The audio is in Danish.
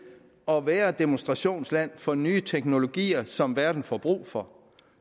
at være demonstrationsland for nye teknologier som verden får brug for